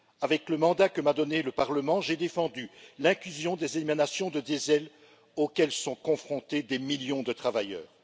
Avec le mandat que m'a donné le Parlement, j'ai défendu l'inclusion des émanations de diesel auxquelles sont confrontés des millions de travailleurs.